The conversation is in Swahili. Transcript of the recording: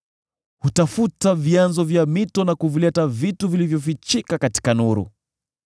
Hutafuta vyanzo vya mito na kuvileta vitu vilivyofichika katika nuru.